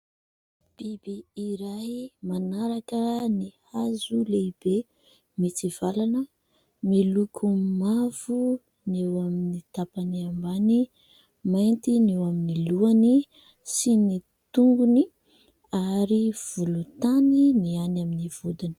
Biby iray manaraka ny hazo lehibe mitsivalana, miloko mavo ny eo amin'ny tampany ambany, mainty ny eo amin'ny lohany sy ny tongony ary volontany ny any amin'ny vodiny.